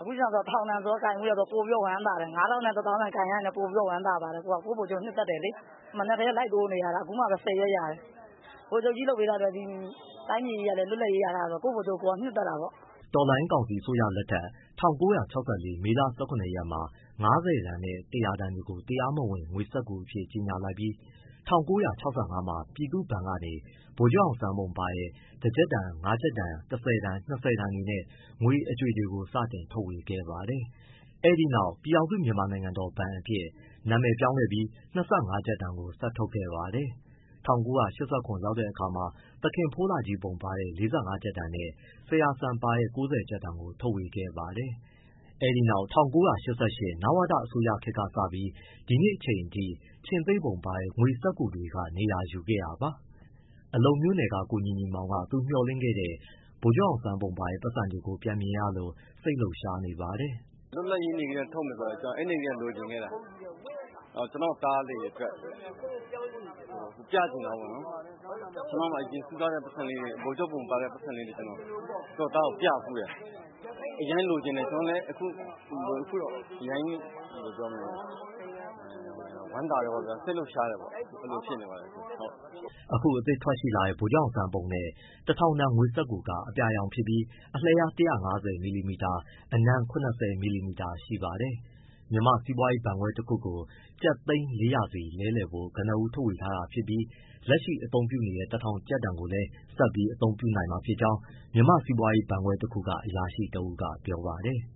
အခု တထောင်တန်ဆိုတော့ ပိုပြီးလည်း ဝမ်းသာတယ်။ ၅၀၀၀ တန်၊ ၁၀၀၀၀ တန်ကိုင်ရရင် ပိုပြီးဝမ်းသာတယ်။ ကိုယ့်ဗိုလ်ချုပ်ကို နှစ်သက်တယ်လေ။ မနက်ကတည်းက လိုက်တိုးနေတာ အခုမှ ဆယ်ရွက်ရတယ်။ ဗိုလ်ချုပ်ကြီးလုပ်ပေးထားလို့ တိုင်းပြည်ကြီးလွတ်လပ်ရေး ရထားတော့ ကိုယ့်ဗိုလ်ချုပ် နှစ်သက်တာပေါ့။” တော်လှန်ရေးကောင်စီအစိုးရလက်ထက် ၁၉၆၄ မေလ ၁၇ရက်မှာ ၅၀တန် နဲ့ ၁၀၀တန်တွေကို တရားမဝင် ငွေစက္ကူအဖြစ် ကြေညာလိုက်ပြီး ၁၉၆၅မှာ ပြည်သူ့ဘဏ်ကနေ ဗိုလ်ချုပ်အောင်ဆန်းပုံပါတဲ့ ၁၊ ၅၊ ၁၀၊ ၂၀ တန်နဲ့ ငွေအကြွေတွေကို စတင်ထုတ်ဝေခဲ့ပါတယ်။ အဲဒီနောက် ပြည်ထောင်စု မြန်မာနိုင်ငံတော် ဘဏ်အဖြစ် နာမည်ပြောင်းခဲ့ပြီး ၂၅ကျပ်တန်ကို ဆက်ထုတ်ခဲ့ပါတယ်။ ၁၉၈၇ ရောက်တဲ့အခါမှာ သခင်ဖိုးလှကြီးပုံပါတဲ့ ၄၅ ကျပ်တန်နဲ့၊ ဆရာစံပါတဲ့ ၉၀ကျပ်တန်ကို ထုတ်ဝေခဲ့ပါတယ်။ အဲဒီနောက် ၁၉၈၈ နဝတ အစိုးရခေတ်ကစပြီး ဒီနေ့အထိ ခြေင်္သေ့ပုံပါတဲ့ ငွေစက္ကူတွေက နေရာယူခဲ့တာပါ။ အလုံမြို့နယ်က ကိုညီညီမောင် က သူ့မျှော်လင့်ခဲ့တဲ့ ဗိုလ်ချုပ်ပုံပါတဲ့ ပိုက်ဆံတွေပြန်မြင်ရလို့ စိတ်လှုပ်ရှားနေပါတယ်။ “ လွတ်လပ်ရေးနေ့ကတည်းက ထုတ်မယ်ဆိုလို့ အဲဒီကတည်းက လိုချင်ခဲ့တာ၊ ကျနော့်သားလေးအတွက် ပြချင်တာပေါ့နော်။ အရင်တုန်းက စုထားတဲ့ ဗိုလ်ချုပ်ပုံပါတဲ့ ပိုက်ဆံလေးတွေ ကျနော့သားကိုပြဖူးတယ်၊ အရမ်းလိုချင်တယ်။ အခုအရမ်းဝမ်းသာတယ်၊ စိတ်လှုပ်ရှားတယ်ပေါ့၊ အဲဒီလို ဖြစ်နေပါတယ်။” အခုအသစ်ထွက်ရှိလာတဲ့ ဗိုလ်ချုပ်အောင်ဆန်းပုံနဲ့ ၁၀၀၀ တန်ငွေစက္ကူက အပြာရောင်ဖြစ်ပြီး အလျား ၁၅၀ မီလီမီတာ၊ အနံ ၇၀ မီလီမီတာရှိပါတယ်။ မြန်မာ့စီးပွားရေးဘဏ်ခွဲတခုကို ကျပ်သိန်း ၄၀၀ စီလဲလှယ်ဖို့ ကနဦးထုတ်ပေးထားပြီး လက်ရှိအသုံးပြုနေတဲ့ တထောင်တန်ကိုလည်း ဆက်ပြီး အသုံးပြုနိုင်မှာဖြစ်ကြောင်း မြန်မာ့စီးပွားရေးဘဏ်ခွဲတခုက အရာရှိတဦးကပြောပါတယ်။